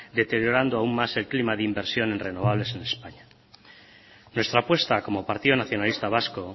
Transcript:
deteriorando aún más el clima de inversión en renovables en españa nuestra apuesta como partido nacionalista vasco